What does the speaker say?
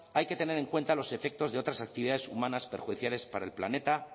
hay que tener en cuenta los efectos de otras actividades humanas perjudiciales para el planeta